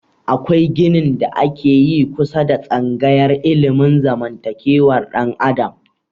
Akwai ginin da ake yi kusa da tsangayar ilimin zamantakewar dan adam